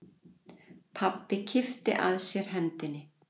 Pabbi kippti að sér hendinni.